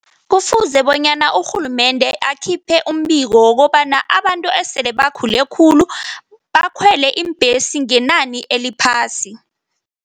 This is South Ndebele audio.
Kufuze bonyana urhulumende akhiphe umbiko wokobana abantu esele bakhule khulu bakhwele iimbhesi ngenani eliphasi.